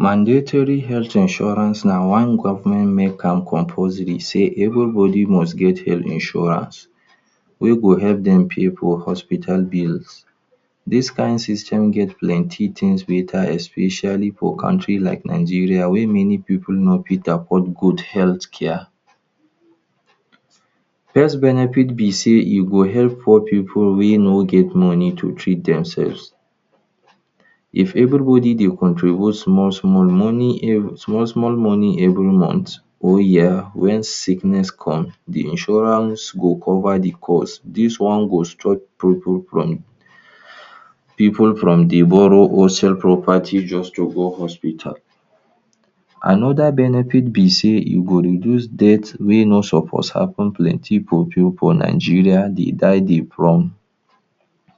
Mandatory health insurance na one government make am compulsory sey everybody must get health insurance wey go help dem pay for hospital bills. Dis kain system get plenty things wey? especially for countries like Nigeria wey many people no fit afford good health care. First benefit be sey e go help poor people wey no get money to treat themselves. If everybody dey contribute small small money um, small small money every month or year wen sickness come, de insurance go cover de cost. Dis one go dey stop? pipu from dey borrow or sell property just to go hospital. Another benefit be sey e go reduce death wey no suppose happen. Plenty pipu for Nigeria dey die from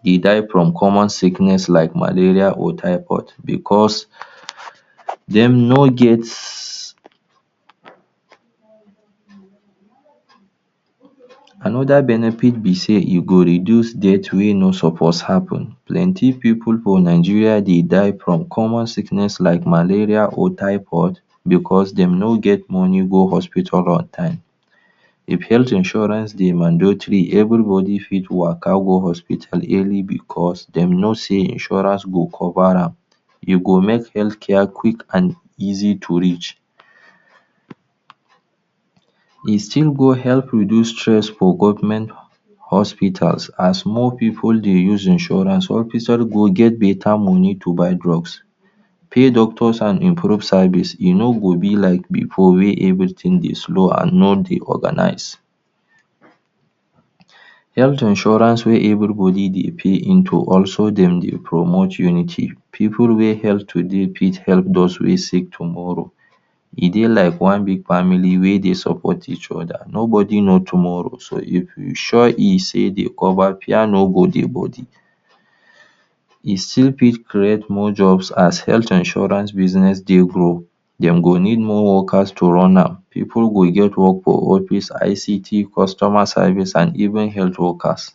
dey die from common sickness like malaria or typhoid because dem no get. Another benefit be sey e go reduce death wey no suppose happen. Plenty pipu for Nigeria dey die from common sickness like malaria or typhoid because dem no get money go hospital on time. If health insurance dey mandatory everybody fit waka go hospital early because dem know sey insurance go cover am. E go make healthcare quick and easy to reach. E still go help reduce stress for government hospitals as small pipu dey use insurance? go get better money to buy drugs, pay doctors and improve service. E no go be like before wey everything dey slow and no dey organise. Health insurance wey everybody dey pay into also dem dey promote unity. Pipu wey help today fit help those wey sick tomorrow. E dey like one big family wey dey support eachother, nobody knows tomorrow. So if e sure sey e cover fear no dey body. E still fit create more jobs. As health insurance business dey grow, dem go need more workers to run am. Pipu go get work for office, ICT, customer service and even health workers.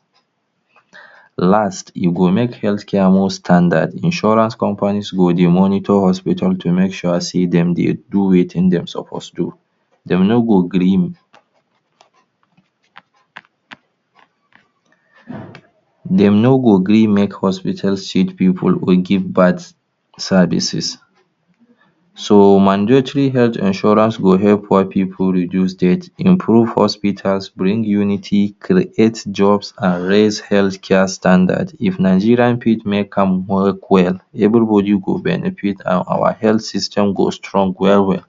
Last, e go make healthcare more standard. Insurance companies go dey monitor hospital to make sure sey dem dey do wetin dey suppose do. Dem no go gree? dem no go gree make hospital? people or give bad services. So mandatory health insurance go help poor pipu reduce death, improve hospitals, bring unity, create jobs and raise healthcare standards. If Nigeria fit make am work well, everybody go benefit and our health system go strong well well.